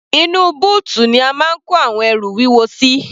Inú bóòtù ni a máa ń kó ẹrù wúwo sí.